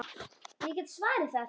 Ég get svarið það!